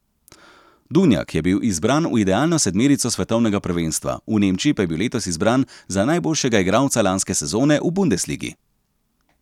Duvnjak je bil izbran v idealno sedmerico svetovnega prvenstva, v Nemčiji pa je bil letos izbran za najboljšega igralca lanske sezone v bundesligi.